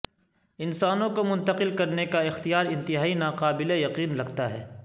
انسانوں کو منتقل کرنے کا اختیار انتہائی ناقابل یقین لگتا ہے